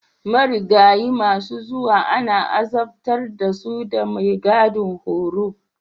Marigayi masu zuwa ana azabtar da su da maigidan horo.